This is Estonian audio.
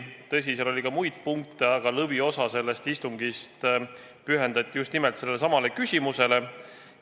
Tõsi, päevakorras oli ka muid punkte, aga lõviosa sellest istungist pühendati just nimelt sellelesamale küsimusele.